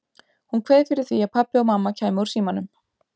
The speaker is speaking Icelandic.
Hún kveið fyrir því að pabbi og mamma kæmu úr símanum.